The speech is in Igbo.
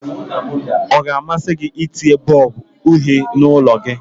Ọ ga-amasị gị itinye bọlbụ uhie n'ụlọ gị?